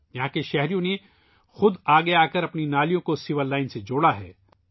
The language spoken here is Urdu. یہاں کے شہریوں نے خود آگے آکر اپنی نالیوں کو سیور لائن سے جوڑا ہے